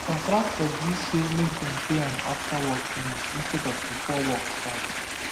contractor gree say make dem pay am after work finish instead of before work start